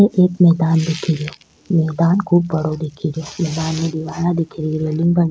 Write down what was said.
ये एक मैदान दिखे रियो मैदान खूब बड़ो दिखे रो मैदान में दिवाला दिखे --